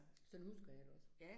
Sådan husker jeg det også